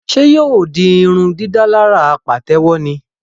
Ṣe yóò di irundidalara patewo ní?